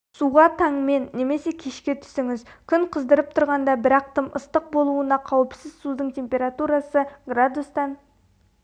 суға таңмен немесе кешке түсіңіз күн қыздырып тұрғанда бірақ тым ыстық болуына қауіпсіз судың температурасы градустан